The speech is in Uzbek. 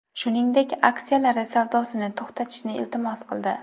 Shuningdek, aksiyalari savdosini to‘xtatishni iltimos qildi.